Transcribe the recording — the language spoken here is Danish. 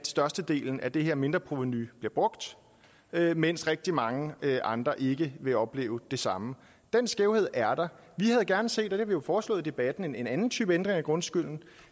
størstedelen af det her mindreprovenu brugt mens rigtig mange andre ikke vil opleve det samme den skævhed er der vi havde gerne set og det har vi jo foreslået i debatten en anden type ændring af grundskylden